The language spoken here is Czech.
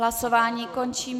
Hlasování končím.